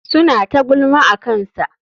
Suna ta gulma akansa.